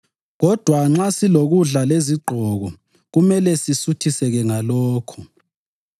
Kodwa nxa silokudla lezigqoko kumele sisuthiseke ngalokho.